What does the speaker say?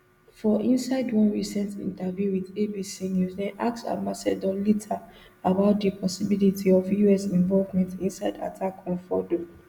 for inside one recent interview wit abc news dem ask ambassador leiter about di possibility of us involvement inside attack on fordo